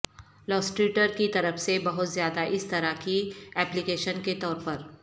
Illustrator کی طرف سے بہت زیادہ اس طرح کے اپلی کیشن کے طور پر